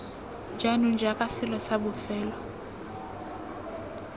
jaanong jaaka selo sa bofelo